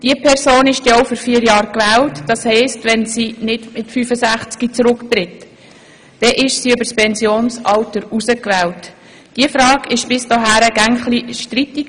Diese Person ist dann auch für vier Jahre gewählt, und wenn sie nicht mit 65 Jahren zurücktritt, bleibt sie über das Pensionsalter hinaus im Amt.